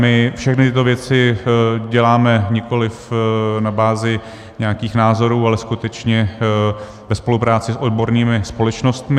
My všechny tyto věci děláme nikoliv na bázi nějakých názorů, ale skutečně ve spolupráci s odbornými společnostmi.